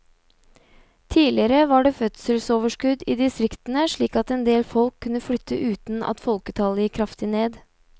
Tidligere var det fødselsoverskudd i distriktene slik at endel folk kunne flytte uten at folketallet gikk kraftig ned.